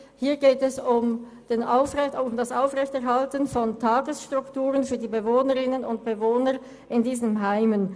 Hier geht es um das Aufrechterhalten von Tagesstrukturen für die Bewohnerinnen und Bewohner dieser Heime.